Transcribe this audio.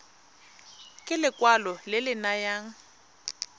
ke lekwalo le le nayang